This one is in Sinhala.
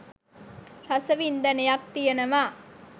රස වින්දනයක් තියනවා.